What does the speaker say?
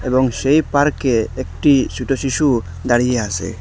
এবং সেই পার্কে একটি ছোট শিশু দাঁড়িয়ে আসে।